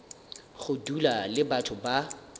go dula le batho ba